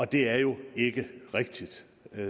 det er jo ikke rigtigt